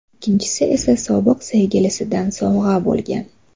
Ikkinchisi esa sobiq sevgilisidan sovg‘a bo‘lgan.